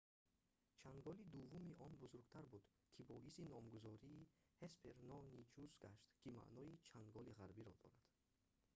чанголи дуввуми он бузургтар буд ки боиси номгузории ҳеспероничус гашт ки маънои чанголи ғарбӣ"‑ро дорад